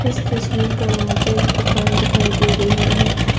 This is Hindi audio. इस तस्वीर पर मुझे एक दुकान दिखाई दे रही है।